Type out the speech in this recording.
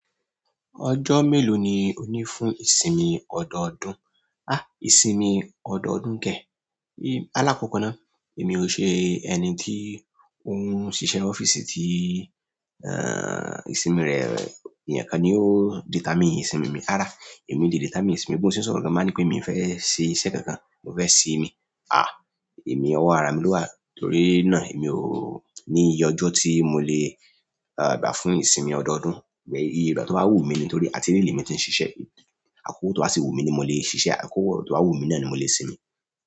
Ọjọ́ mélòó ni ó ní fún ìsinmi ọdọọdún? Àh! Ìsinmi ọdọọdún kẹ̀? Alákọkọ náà, èmi ò ṣe ẹni tí ó ń ṣiṣẹ́ ọ́fíìsì tí, ẹ́ è, ìsinmi rẹ̀, eeyan kan ni ó determine ìsinmi mi. Rárá, èmi determine mi ìsinmi, bi mo se n sọ̀rọ̀ lọwọ ti n ba ní pé mi ò fẹ́ ṣe iṣẹ́ kankan, mo fẹ́ sinmi. Àh! Èmi ọwọ́ ara mi ló wà, torí náà èmi ò ní iye ọjọ́ tí mo lè, à, gbà fún ìsinmi ọdọọdún. Ìbẹ̀, aye ìgbà tó bá wù mí ni, torí àti ile lemi tí ń ṣiṣẹ́. Àkókò tó bá sì wù mí ní mo lè ṣiṣẹ́, àkókò tó bá wù mí náà ni mo lè sinmi.